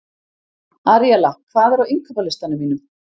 Aríella, hvað er á innkaupalistanum mínum?